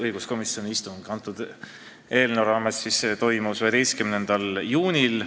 Õiguskomisjoni istung selle eelnõu teemal toimus 11. juunil.